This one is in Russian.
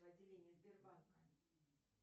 отделение сбербанка